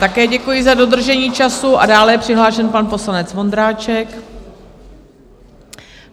Také děkuji za dodržení času a dále je přihlášen pan poslanec Vondráček.